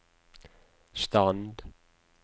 stand